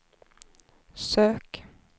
sök